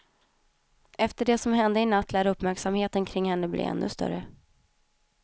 Efter det som hände i natt lär uppmärksamheten kring henne bli ännu större.